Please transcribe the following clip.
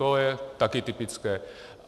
To je také typické.